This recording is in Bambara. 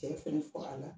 Cɛ fɛn faga la